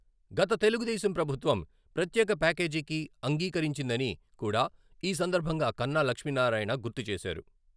గత తెలుగుదేశం ప్రభుత్వం ప్రత్యేక ప్యాకేజికి అంగీకరించిందని కూడా ఈ సందర్భంగా కన్నా లక్ష్మీనారాయణ గుర్తు చేశారు.